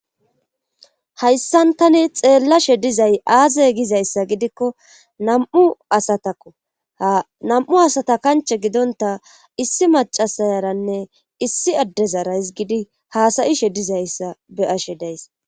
Hayssan tani xeellashe dizay aaze gizayssa gidikko nam7u asatakoanam7u asata kanche gidonta issi macasayaranne issi addezarays gidi haasayishe dizayssa be ashe days.